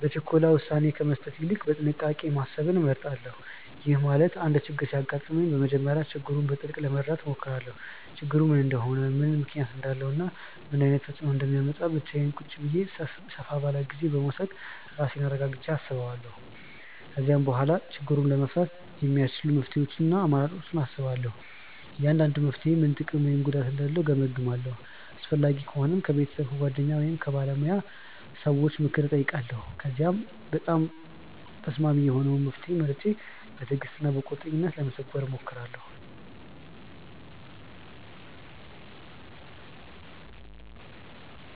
በችኮላ ውሳኔ ከመስጠት ይልቅ በጥንቃቄ ማሰብን እመርጣለሁ። ይሄ ማለት አንድ ችግር ሲያጋጥመኝ በመጀመሪያ ችግሩን በጥልቅ ለመረዳት እሞክራለሁ። ችግሩ ምን እንደሆነ፣ ምን ምክንያት እንዳለው እና ምን ዓይነት ተፅእኖ እንደሚያመጣ ብቻዬን ቁጭ ብዬ ሰፍ ጊዜ በመዉሰድ ራሴን አረጋግቸ አስባለው። ከዚያ በኋላ ችግሩን ለመፍታት የሚያስቺሉ መፍትሄ አማራጮችን አስባለሁ። እያንዳንዱ መፍትሔ ምን ጥቅም ወይም ጉዳት እንዳለው እገምግማለሁ። አስፈላጊ ከሆነም ከቤተሰብ፣ ከጓደኞች ወይም ከባለሙያ ሰዎች ምክር እጠይቃለሁ። ከዚያም በጣም ተስማሚ የሆነውን መፍትሔ መርጬ በትዕግሥት እና በቁርጠኝነት ለመተግበር እሞክራለሁ።